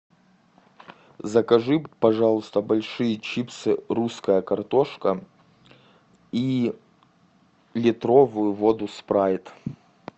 закажи пожалуйста большие чипсы русская картошка и литровую воду спрайт